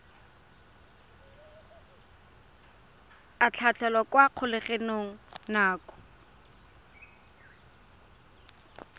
a tlhatlhelwa kwa kgolegelong nako